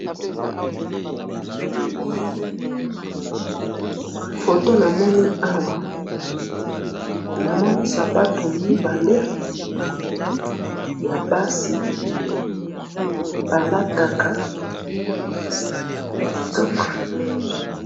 photo namoni awa namoni photo ya basi mibale balataka ya kitoko